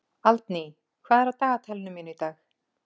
Aldný, hvað er á dagatalinu mínu í dag?